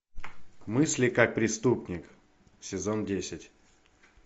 мысли как преступник сезон десять